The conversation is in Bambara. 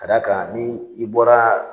Ka d'a kan ni i bɔra